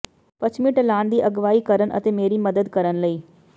ਪੱਛਮੀ ਢਲਾਣ ਦੀ ਅਗਵਾਈ ਕਰਨ ਅਤੇ ਮੇਰੀ ਮਦਦ ਕਰਨ ਲਈ